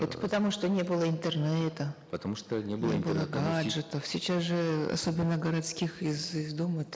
это потому что не было интернета потому что не было не было гаджетов сейчас же особенно городских из из дома